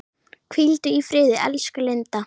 Hvíldu í friði elsku Linda.